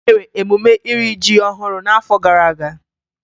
E mere emume iri ji ọhụrụ n'afọ gara aga.